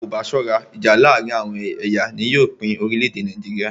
Tí a kò bá ṣọ́rá, ìjà láàárín àwọn ẹ̀yà ni yóò pín orílẹ̀-èdè Nàìjíríà.